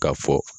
Ka fɔ